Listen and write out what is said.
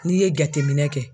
N'i ye jateminɛ kɛ